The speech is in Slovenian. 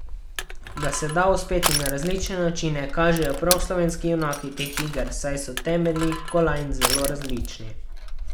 Da se da uspeti na različne načine, kažejo prav slovenski junaki teh iger, saj so temelji kolajn zelo različni.